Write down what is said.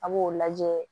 A b'o lajɛ